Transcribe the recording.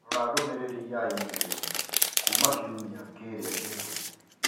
rora ndũmĩrĩri ya i-mīrū kuuma kiumia kĩrĩa kĩhĩtũku